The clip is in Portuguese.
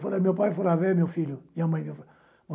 Falei, meu pai, meu filho, e a mãe?